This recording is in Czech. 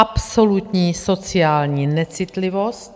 Absolutní sociální necitlivost.